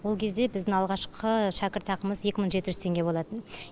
ол кезде біздің алғашқы шәкіртақымыз екі мың жеті жүз теңге болатын